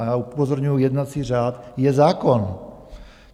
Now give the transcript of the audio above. A já upozorňuju, jednací řád je zákon.